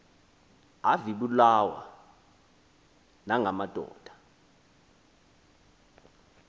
avibulawa nanga madoda